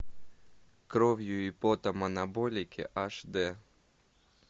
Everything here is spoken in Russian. кровью и потом анаболики аш д